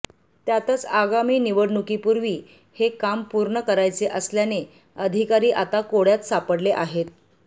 त्यातच आगामी निवडणुकीपूर्वी हे काम पूर्ण करायचे असल्याने अधिकारी आता कोड्यात सापडले आहेत